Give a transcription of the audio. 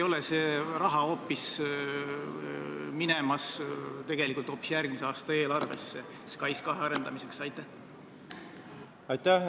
Kas see raha ei lähe tegelikult hoopis järgmise aasta eelarvesse SKAIS2 arendamiseks?